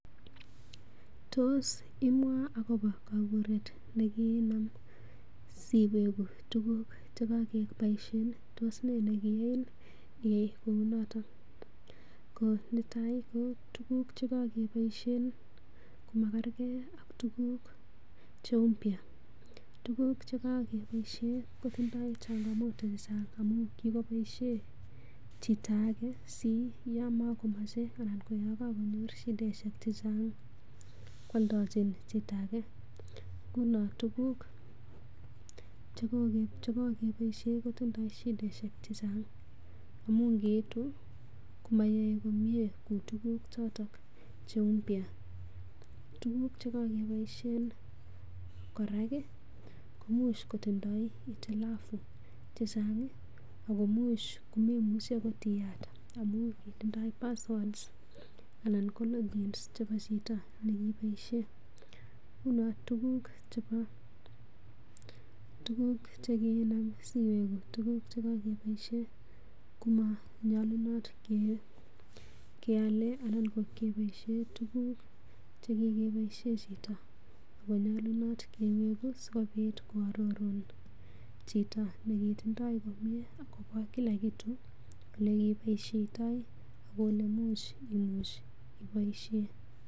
Tos imwaa agobo kaburet ne kiinam si weguu tuguk che kakeboisien? Tos nee ne kiyain iyai kou noton? Ko netai ko tuguk che kogeboisie komakerke ak tuguk che mpya tuguk che kogeboisie kotindoi changamoto amun kigoboiisie chito age siyama komoche anan konyor shiaishek che chnag koaldochin chito age. Nguno tuguk che kogeboisie kotindo shidaishek che chang amun ngeitu komayae komye kou tuguk choto che mpya Tuguk che kogeboisie kora koimuch kotindo hitilafu che chang. Ago imuch komemuchi agot iyat amun mara kitindoi passwprd aanan ko logins chebo chito ne kiboisie. Ngunon tuguk chekinam siwegu, tuguk che kogeboisie komanyolunot keale, anan keboisien, tuguk che kigeboisie chito komanyalunoto kiwegu sikoarorun chito nekitindoi agobo kila kitu ole kiboisioitoi ak ole imuch iboisie.